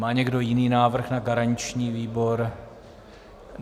Má někdo jiný návrh na garanční výbor?